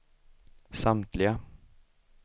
samtliga